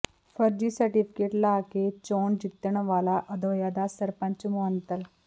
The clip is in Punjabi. ਫਰਜ਼ੀ ਸਰਟੀਫਿਕੇਟ ਲਾ ਕੇ ਚੋਣ ਜਿੱਤਣ ਵਾਲਾ ਅਧੌਆ ਦਾ ਸਰਪੰਚ ਮੁਅੱਤਲ